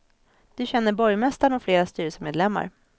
Du känner borgmästaren och flera styrelsemedlemmar.